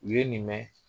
U ye nin mɛn